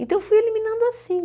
Então, fui eliminando assim.